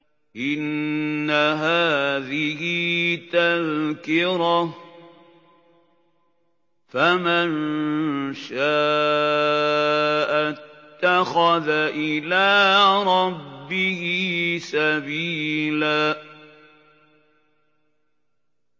إِنَّ هَٰذِهِ تَذْكِرَةٌ ۖ فَمَن شَاءَ اتَّخَذَ إِلَىٰ رَبِّهِ سَبِيلًا